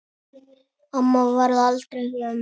Amma varð aldrei gömul.